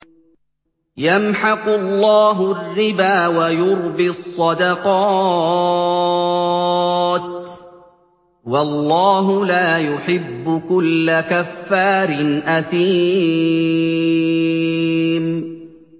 يَمْحَقُ اللَّهُ الرِّبَا وَيُرْبِي الصَّدَقَاتِ ۗ وَاللَّهُ لَا يُحِبُّ كُلَّ كَفَّارٍ أَثِيمٍ